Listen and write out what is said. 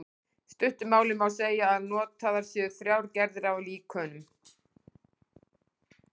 stuttu máli má segja að notaðar séu þrjár gerðir af líkönum